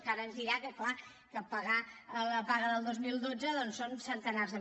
que ara ens dirà que clar que pagar la paga del dos mil dotze doncs són centenars de